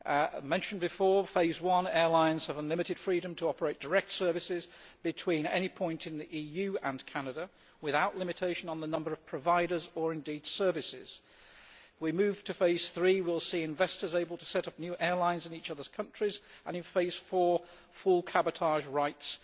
As mentioned before, in Phase 1, airlines have unlimited freedom to operate direct services between any point in the EU and Canada, without limitation on the number of providers or, indeed, services. We move to Phase 3 we will see investors able to set up new airlines in each other's countries and, in Phase 4, full cabotage rights